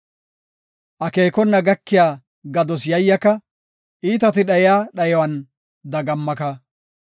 Akeekona gakiya gados yayyaka; iitati dhayiya dhayuwan dagammaka.